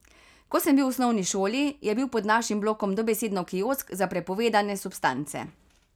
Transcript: Ko sem bil v osnovni šoli, je bil pod našim blokom dobesedno kiosk za prepovedane substance.